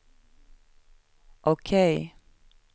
OK